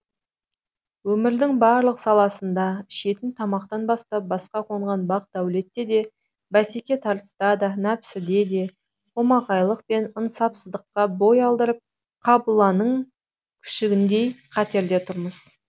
өмірдің барлық саласында ішетін тамақтан бастап басқа қонған бақ дәулетте де бәсеке тартыста да нәпсіде де қомағайлық пен ынсапсыздыққа бой алдырып қабыланның күшігіндей қатерде тұрмыз